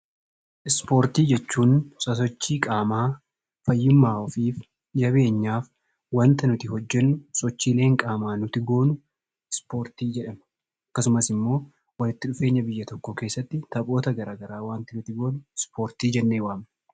Ispoortii jechuun sosochii qaamaa fayyummaa ofiif, jabeenyaaf wanta nuti hojjennu sochiileen qaamaa nuti goonu ispoortii jedhama. Akkasumas immoo walitti dhufeenya biyya tokkoo keessatti taphoota garagaraa wanta nuti goonu ispoortii jennee waamna.